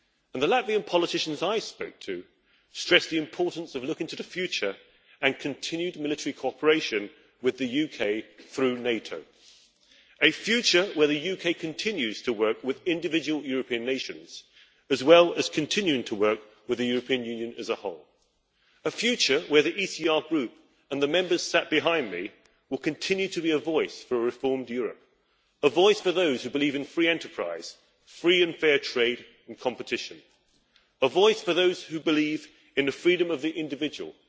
The Latvian politicians I spoke to stressed the importance of looking to the future and continued military cooperation with the UK through NATO, a future where the UK continues to work with individual European nations as well as continuing to work with the European Union as a whole. A future where the ECR Group, and the Members sat behind me, will continue to be a voice for a reformed Europe, a voice for those who believe in free enterprise, free and fair trade and competition, a voice for those who believe in the freedom of the individual,